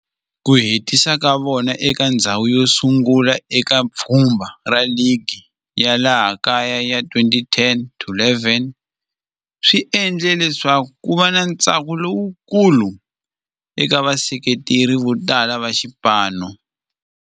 Ku hetisa ka vona eka ndzhawu yosungula eka pfhumba ra ligi ya laha kaya ya 2010-11 swi endle leswaku kuva na ntsako lowukulu eka vaseketeri votala va xipano.